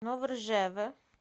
новоржеве